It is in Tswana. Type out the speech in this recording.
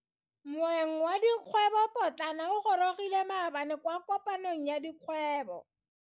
Moeng wa dikgwebo potlana o gorogile maabane kwa kopanong ya dikgwebo.